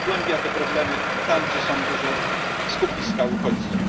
To pogłębia problemy tam, gdzie są duże skupiska uchodźców.